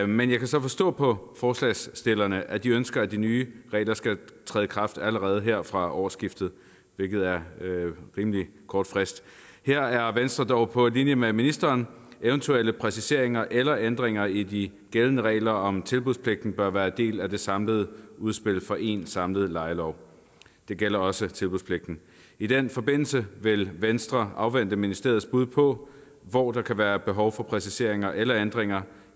men jeg kan så forstå på forslagsstillerne at de ønsker at de nye regler skal træde i kraft allerede her fra årsskiftet hvilket er en rimelig kort frist her er venstre dog på linje med ministeren eventuelle præciseringer eller ændringer i de gældende regler om tilbudspligten bør være en del af det samlede udspil til en samlet lejelov det gælder også tilbudspligten i den forbindelse vil venstre afvente ministeriets bud på hvor der kan være behov for præciseringer eller ændringer